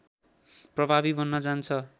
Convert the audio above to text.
प्रभावी बन्न जान्छ